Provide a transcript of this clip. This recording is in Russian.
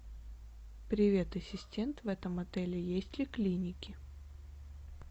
привет ассистент в этом отеле есть ли клиники